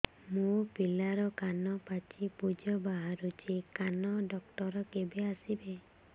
ମୋ ପିଲାର କାନ ପାଚି ପୂଜ ବାହାରୁଚି କାନ ଡକ୍ଟର କେବେ ଆସିବେ